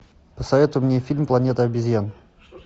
посоветуй мне фильм планета обезьян